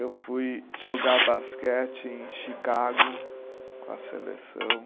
Eu fui jogar basquete em Chicago com a seleção.